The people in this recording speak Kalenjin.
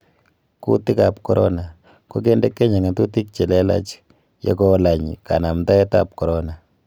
Kutiik ab korona: Kokonde Kenya ng'atutik che lelaach ye kolaany kanamdaet ab korona